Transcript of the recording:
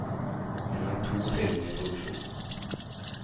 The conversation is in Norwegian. Hun har to filmer i produksjon.